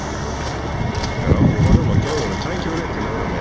Fáðu líka ráð hjá honum og gefðu honum tækifæri til að vera með.